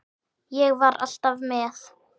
Ég var alltaf með.